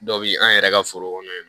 Dɔ bi an yɛrɛ ka foro kɔnɔ yan